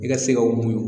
I ka se ka mun